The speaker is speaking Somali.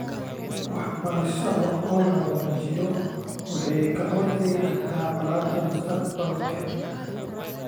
Waxbarashada oo la wanaajiyo waxay ka hortagi kartaa colaadaha mustaqbalka ee .